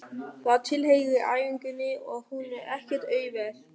Það tilheyrir æfingunni og hún er ekkert auðveld.